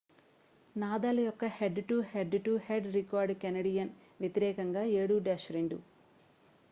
Nadal యొక్క head to head to head record Canadian వ్యతిరేకంగా 7-2